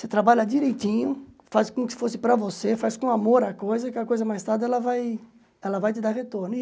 Você trabalha direitinho, faz com que fosse para você, faz com amor a coisa, que a coisa mais tarde ela vai ela vai te dar retorno.